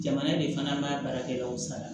Jamana de fana maa baarakɛlaw sara